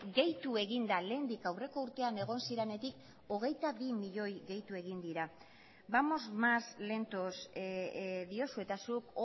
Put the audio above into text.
gehitu egin da lehendik aurreko urtean egon zirenetik hogeita bi milioi gehitu egin dira vamos más lentos diozu eta zuk